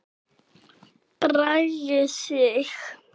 Bragi Sig.